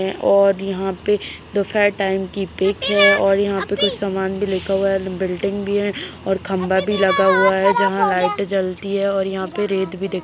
और यहाँ पे दोपहर टाइम की पीक है और यहाँ पे कुछ समान भी लिखा हुआ है बिल्डिंग भी है और खंबा भी लगा हुआ है जहाँ लाइट जलती है और यहाँ पे रेड --